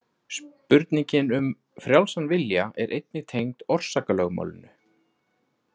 Spurningin um frjálsan vilja er einnig tengd orsakalögmálinu.